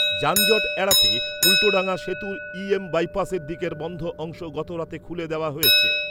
যানজট এড়াতে উল্টোডাঙা সেতুর ইএম বাইপসের দিকের বন্ধ অংশ গত রাতে খুলে দেওয়া হয়েছে।